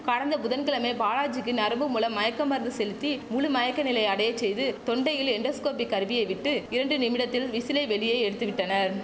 கடந்த புதன்கிழமை பாலாஜிக்கு நரம்பு மூலம் மயக்க மருந்து செலுத்தி முழு மயக்க நிலையை அடைய செய்து தொண்டையில் எண்டோஸ்கோபி கருவியை விட்டு இரண்டு நிமிடத்தில் விசிலை வெளியே எடுத்துவிட்டனர்